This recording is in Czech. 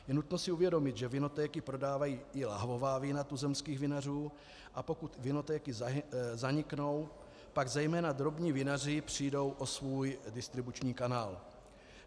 Je nutno si uvědomit, že vinotéky prodávají i lahvová vína tuzemských vinařů, a pokud vinotéky zaniknou, pak zejména drobní vinaři přijdou o svůj distribuční kanál.